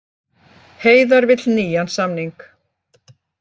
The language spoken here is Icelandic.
Heiðar vill nýjan samning